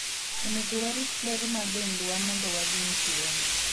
onego warit ler ma dendwa mondo wageng' tuoni